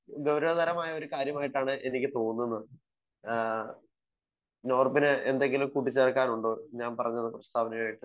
Speaker 1 ഗൗരവകരമായൊരു ഒരു കാര്യമായിട്ടാണ് എനിക്ക് തോന്നുന്നത്. ഏഹ് നോർബിന് എന്തെങ്കിലും കൂട്ടി ചേർക്കാനുണ്ടോ ഞാൻ പറഞ്ഞ പ്രസ്താവനകളിലേക്ക്?